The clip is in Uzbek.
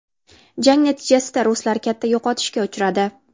Jang natijasida ruslar katta yo‘qotishga uchradi.